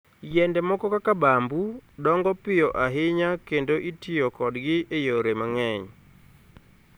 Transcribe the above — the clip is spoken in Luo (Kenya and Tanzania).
Yiende moko kaka bamboo, dongo piyo ahinya kendo itiyo kodgi e yore mang'eny.